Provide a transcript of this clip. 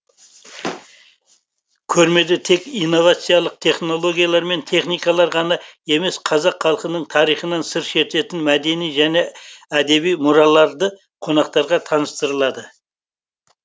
көрмеде тек инновациялық технологиялар мен техникалар ғана емес қазақ халқының тарихынан сыр шертетін мәдени және әдеби мұраларды қонақтарға таныстырылады